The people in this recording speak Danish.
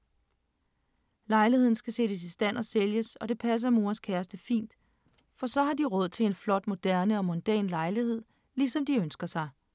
Lejligheden skal sættes i stand og sælges, og det passer Moas kæreste fint, for så har de råd til en flot, moderne og mondæn lejlighed, lige som de ønsker sig …